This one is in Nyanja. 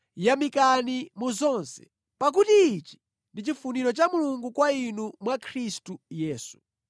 Yamikani mu zonse, pakuti ichi ndi chifuniro cha Mulungu kwa inu mwa Khristu Yesu.